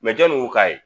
Mɛ jɔnni k'a ye